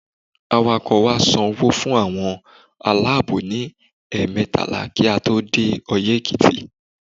Awakọ̀ wa san owó fún àwọn aláàbò ní ẹ̀ẹ̀mẹtàlá kí a tó dé Oyẹ́ Èkìtì.